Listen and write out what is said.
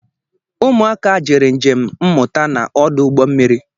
Ụmụ aka jere njem mmụta na ọdụ ụgbọ mmiri